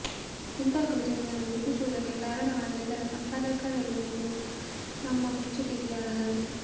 ಇಂಥ ಕೃತಿಯೊಂದನ್ನು ರೂಪಿಸುವುದಕ್ಕೆ ಕಾರಣವಾದ ಇದರ ಸಂಪಾದಕರೆಲ್ಲರೂ ನಮ್ಮ ಮೆಚ್ಚುಗೆಗೆ ಅರ್ಹರು